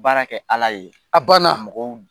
Baara kɛ Ala ye, a ban na.